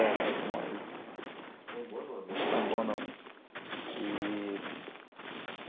Era um. Um bom nome. Um bom nome. E